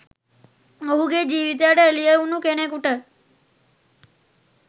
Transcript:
ඔහුගේ ජීවිතයට එළිය වුනු කෙනෙකුට